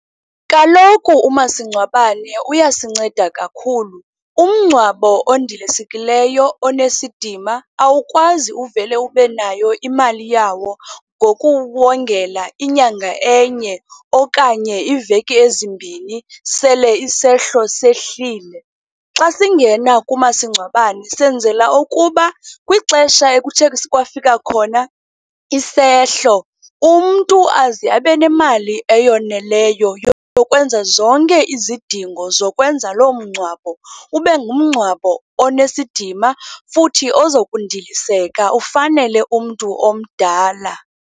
Kaloku umasingcwabane uyasinceda kakhulu. Umngcwabo ondilisekileyo, onesidima, awukwazi uvele ube nayo imali yawo ngokuwongela inyanga enye okanye iiveki ezimbi sele isehlo sehlile. Xa singena kumasingcwabane senzela ukuba kwixesha ekuthe kwafika khona isehlo, umntu aze abe nemali eyoneleyo yokwenza zonke izidingo zokwenza loo mngcwabo ube ngumncwabo onesidima, futhi ozokundiliseka ufanele umntu omdala.